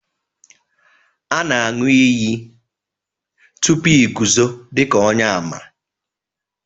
a na-anu iyi.... tupu i guzo dika onye-àmà